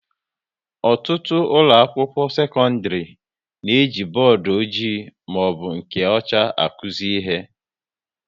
Ọtụtụ ụlọ akwụkwọ sekọndrị na-eji bọọdụ ọjị maọbụ nke ọcha akuzi ihe